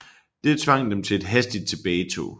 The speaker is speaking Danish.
Det tvang dem til et hastigt tilbagetog